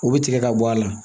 U bɛ tigɛ ka bɔ a la